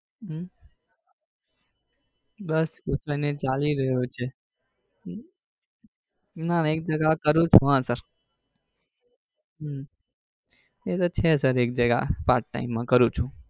હમ બસ એજ ચાલી રહ્યો છે ના એક એક જગા કરું ચુ હા સર હમ એતો છે એક જગા પાર્ટ ટટાઈમે માં કરું છે